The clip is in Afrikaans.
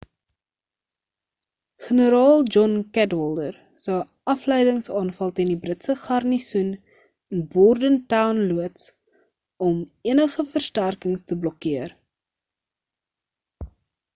generaal john cadwalder sou 'n afleidings-aanval teen die britse garnisoen in bordentown loods om enige versterkings te blokkeer